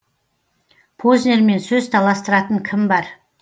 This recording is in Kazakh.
познермен сөз таластыратын кім бар